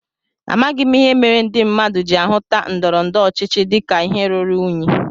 Amaghị m ihe mere ndị mmadụ ji ahuta ndọrọndọrọ ọchịchị dịka ihe ruru unyi